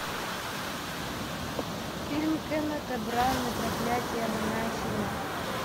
фильм кеннета браны проклятье монахини